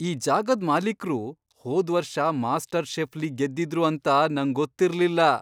ಈ ಜಾಗದ್ ಮಾಲೀಕ್ರು ಹೋದ್ವರ್ಷ ಮಾಸ್ಟರ್ ಷೆಫ್ಲಿ ಗೆದ್ದಿದ್ರು ಅಂತ ನಂಗೊತ್ತಿರ್ಲಿಲ್ಲ!